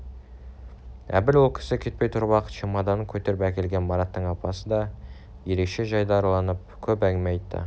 әбіл ол кісі кетпей тұрып-ақ чемоданын көтеріп әкелген мараттың апасы да ерекше жайдарыланып көп әңгіме айтты